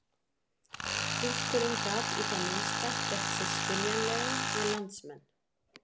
Túlkurinn gat í það minnsta gert sig skiljanlegan við landsmenn.